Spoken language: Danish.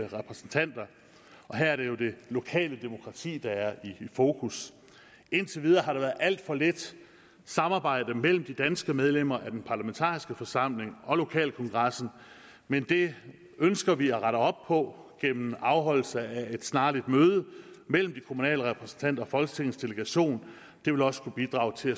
repræsentanter her er det jo det lokale demokrati der er i fokus indtil videre har der været alt for lidt samarbejde mellem de danske medlemmer af den parlamentariske forsamling og lokalkongressen men det ønsker vi at rette op på gennem afholdelse af et snarligt møde mellem de kommunale repræsentanter og folketingets delegation det vil også kunne bidrage til